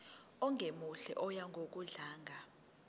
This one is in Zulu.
ongemuhle oya ngokudlanga